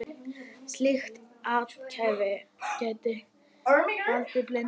Slíkt athæfi gæti valdið blindu.